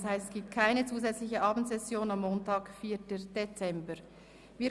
Das heisst, es findet keine zusätzliche Abendsession am Montag, den 4. Dezember, statt.